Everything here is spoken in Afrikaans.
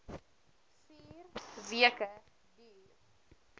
vier weke duur